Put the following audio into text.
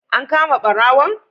An kama ɓarawon?